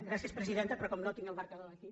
gràcies presidenta però com que no tinc el marcador aquí